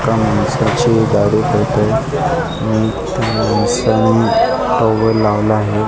त्या माणसाची दाढी करत आहे आणि त्या माणसांनी टॉवेल लावला आहे.